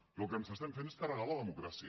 i el que estem fent és carregarnos la democràcia